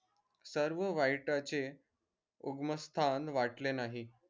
सर्व वाईटाचे उगमस्तान वाटले नाही